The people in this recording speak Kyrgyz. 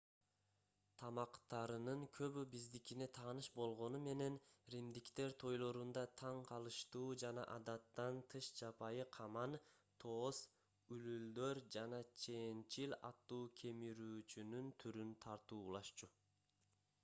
тамактарынын көбү биздикине тааныш болгону менен римдиктер тойлорунда таң калыштуу жана адаттан тыш жапайы каман тоос үлүлдөр жана чеенчил аттуу кемирүүчүнүн түрүн тартуулашчу